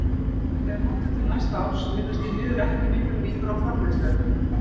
Þegar horft er til næsta árs virðast því miður ekki miklar líkur á framleiðsluaukningu.